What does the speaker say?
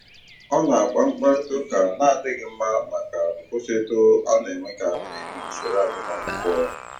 Ọ na-akpa mkparita ụka na-adịghị mma maka nkwụsịtụ a na-enwekarị na usoro agụmakwụkwọ.